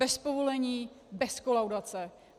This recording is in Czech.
Bez povolení, bez kolaudace.